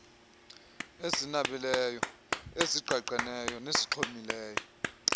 ezinabileyo ezigqagqeneyo nezixhomileyo